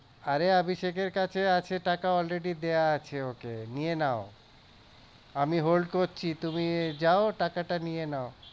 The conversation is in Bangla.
আরে অভিষেক এর কাছে আছে টাকা already দেওয়া আছে ওকে নিয়ে নাও, আমি hold করছি, তুমি যাও টাকাটা নিয়ে নাও।